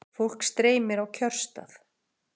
Fólk streymir á kjörstað